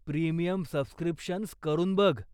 Premium subscriptions वापरून बघ.